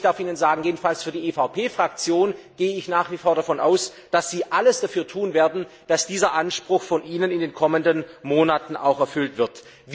Ich darf Ihnen sagen, jedenfalls für die EVP Fraktion gehe ich nach wie vor davon aus, dass Sie alles dafür tun werden, dass dieser Anspruch von Ihnen in den kommenden Monaten auch erfüllt wird.